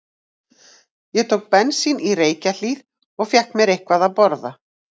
Ég tók bensín í Reykjahlíð og fékk mér eitthvað að borða.